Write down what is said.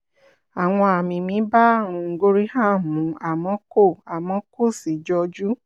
àwọn àmì mi bá àrùn gorham mu àmọ́ kò àmọ́ kò sì jọjú